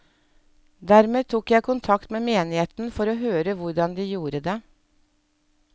Dermed tok jeg kontakt med menigheten for å høre hvordan de gjorde det.